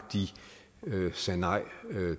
sagde nej